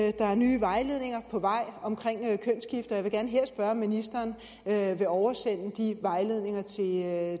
at der er nye vejledninger på vej om kønsskifte og jeg vil gerne her spørge om ministeren vil oversende de vejledninger